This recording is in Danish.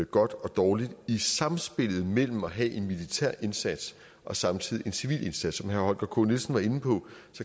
godt og dårligt i sammenspillet mellem at have en militær indsats og samtidig en civil indsats som herre holger k nielsen var inde på